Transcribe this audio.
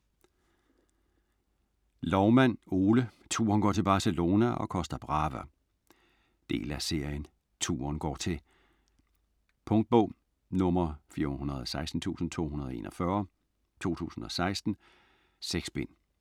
Loumann, Ole: Turen går til Barcelona & Costa Brava Del af serien Turen går til. Punktbog 416241 2016. 6 bind.